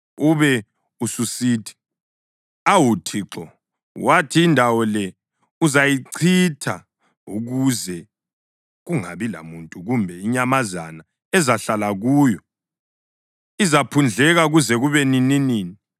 Ube ususithi, ‘Awu Thixo, wathi indawo le uzayichitha ukuze kungabi lamuntu kumbe inyamazana ezahlala kuyo; izaphundleka kuze kube nininini.’